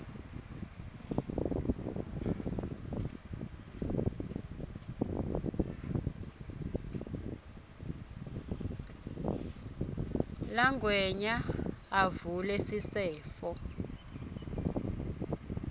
langwenya avule sisefo